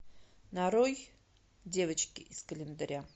нарой девочки из календаря